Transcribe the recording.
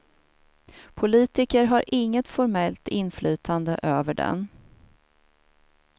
Politiker har inget formellt inflytande över den.